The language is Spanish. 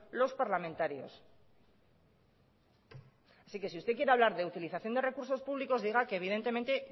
los parlamentarios así que si usted quiere hablar e utilización de recursos públicos diga que evidentemente